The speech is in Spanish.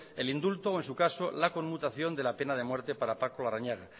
el indulto o en su caso la conmutación de la pena de muerte para paco larrañaga